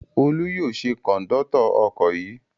Olú yóò ṣe kọ̀ńdọ́tọ̀ ọkọ̀ yìí.